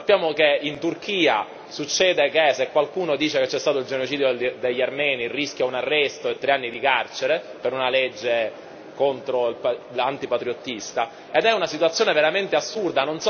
Sappiamo che in Turchia succede che se qualcuno dice che c'è stato il genocidio degli armeni rischia un arresto e tre anni di carcere per una legge antipatriottista ed è una situazione veramente assurda.